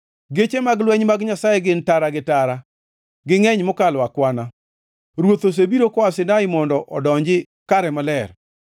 Geche mag lweny mag Nyasaye gin tara gi tara; gingʼeny mokalo akwana; Ruoth osebiro koa Sinai mondo odonji kare maler.